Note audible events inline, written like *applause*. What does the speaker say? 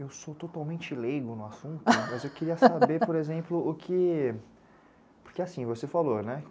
Eu sou totalmente leigo no assunto, *laughs* mas eu queria saber, por exemplo, o que... Porque assim, você falou, né?